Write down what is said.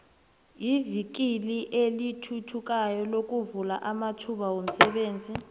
ivikili elithuthukayo lovula amathuba womsebenzi